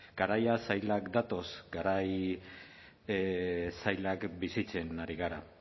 garaia zailak datoz garai zailak bizitzen ari gara